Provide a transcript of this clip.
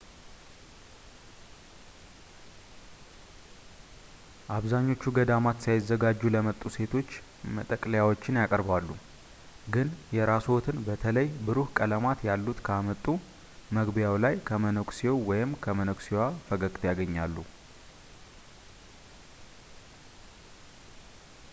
አብዛኞቹ ገዳማት ሳይዘጋጁ ለመጡ ሴቶች መጠቅለያዎችን ያቀርባሉ ግን የራስዎትን በተለይ ብሩህ ቀለማት ያሉት ካመጡ መግቢያው ላይ ከመነኩሴው ወይም መነኩሴዋ ፈገግታ ያገኛሉ